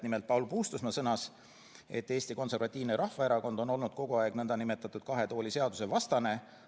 Nimelt Paul Puustusmaa sõnas, et Eesti Konservatiivne Rahvaerakond on olnud kogu aeg nn kahe tooli seaduse vastane.